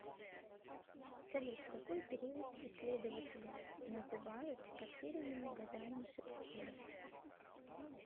салют какой период исследователи называют потерянными годами шекспира